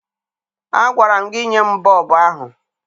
Agwara m gị nye m bọọbụ ahụ!